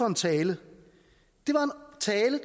en tale